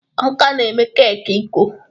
Amaka na-eme keeki iko.